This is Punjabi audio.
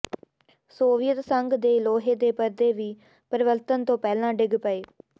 ਸੋਵੀਅਤ ਸੰਘ ਦੇ ਲੋਹੇ ਦੇ ਪਰਦੇ ਵੀ ਪਰਿਵਰਤਨ ਤੋਂ ਪਹਿਲਾਂ ਡਿੱਗ ਗਏ